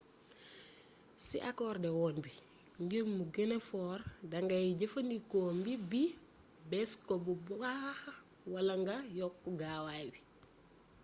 ci akordewon bi ngir mu gëna foor dangay jëfandikoo mbiip bi bës ko bu baaax wala nga yokk gaaawaay bi